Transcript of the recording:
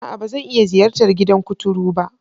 A'a! Ba zan iya ziyartar gidan kuturu ba.